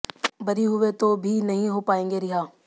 बरी हुए तो भी नहीं हो पाएंगे रिहा